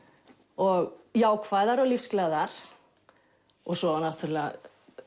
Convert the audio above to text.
og jákvæðar og lífsglaðar og svo náttúrulega